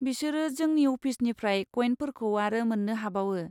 बिसोरो जोंनि अफिसनिफ्राय कयेनफोरखौ आरो मोन्नो हाबावो।